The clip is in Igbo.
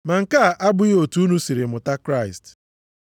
Ma nke a abụghị otu unu siri mụta Kraịst,